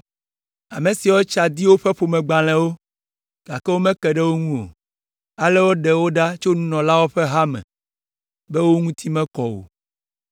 Ame siawo tsa di woƒe ƒomegbalẽwo, gake womeke ɖe wo ŋu o, ale woɖe wo ɖa tso nunɔlawo ƒe ha me be wo ŋuti mekɔ o.